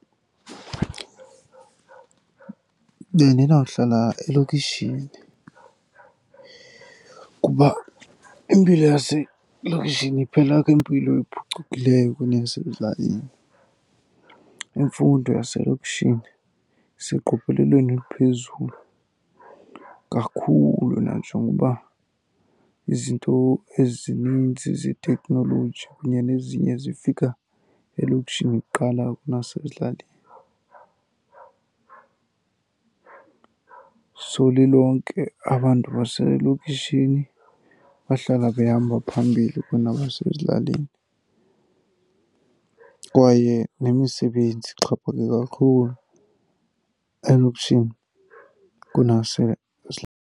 Bendizawuhlala elokishini kuba impilo yaselokishini kuphela kwempilo ephucukileyo kuneyasezilalini. Imfundo yaselokishini iseqophelelweni eliphezulu kakhulu nanjengoba izinto ezininzi zeteknoloji kunye nezinye zifika elokishini kuqala kunasezilalini. So lilonke abantu baselokishini bahlala behamba phambili kunabasezilalini, kwaye nemisebenzi ixhaphake kakhulu elokishini .